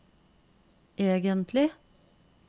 egentlig